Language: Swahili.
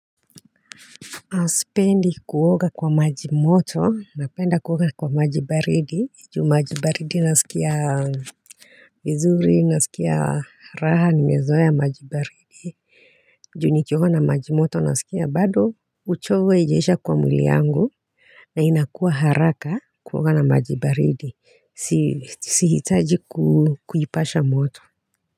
Na sipendi kuoga kwa maji moto, napenda kuoga kwa maji baridi, juu maji baridi naskia vizuri, naskia raha, nimezoea maji baridi. Juu nikioga na majimoto, naskia bado uchovu haijaisha kwa mwili yangu na ina kuwa haraka kuoga na maji baridi. Sihi taji kuipasha moto.